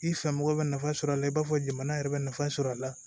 I fɛ mɔgɔ bɛ nafa sɔrɔ a la i b'a fɔ jamana yɛrɛ bɛ nafa sɔrɔ a la